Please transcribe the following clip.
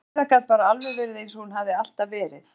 Heiða gat bara alveg verið eins og hún hafði alltaf verið.